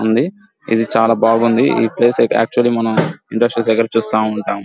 ఇది చాలా బాగుంది ఈ ప్లేస్ అయితే యాక్చువల్లీ మనం ఇండస్ట్రియల్స్ దగ్గరైతే చూస్తా ఉంటాం.